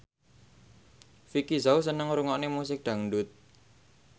Vicki Zao seneng ngrungokne musik dangdut